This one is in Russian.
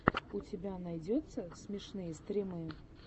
у тебя найдется смешные стримы